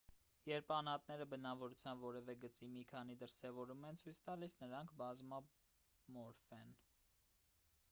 երբ անհատները բնավորության որևէ գծի մի քանի դրսևորում են ցույց տալիս նրանք բազմամորֆ են